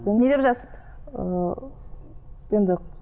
не деп жазды ы енді